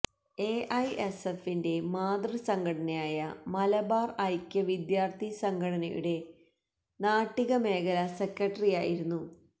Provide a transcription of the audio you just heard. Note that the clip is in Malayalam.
എഐഎസ്എഫിന്റെ മാതൃസംഘടനയായ മലബാര് ഐക്യ വിദ്യാര്ഥി സംഘടനയുടെ നാട്ടിക മേഖല സെക്രട്ടറിയായിരുന്നു